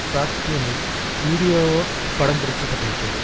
தாக்கியமை video படம்பிடிக்கப்பட்டிருக்கிறது